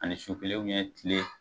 Ani su kelen tile